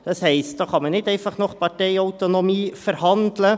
Das heisst, da kann man nicht einfach nach Parteiautonomie verhandeln.